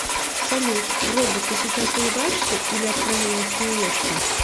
салют робот ты сейчас улыбаешься или откровенно смеешься